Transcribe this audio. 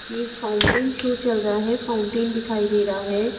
यह एक fountain show चल रहा है फाउंटेन दिखाई दे रहा है ।